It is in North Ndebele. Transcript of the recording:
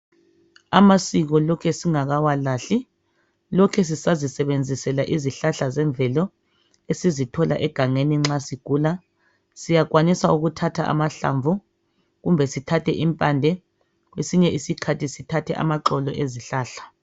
Amasiko lokhe singakawalahli lokhe sisazisebenzisela izihlahla zemvelo esizithola egangeni nxa sigula. Siyakwanisa ukuthatha amahlamvu, kumbe sithathe impande kwesinye isikhathi sithathe amaxolo ezihlahla.